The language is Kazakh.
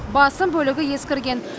басым бөлігі ескірген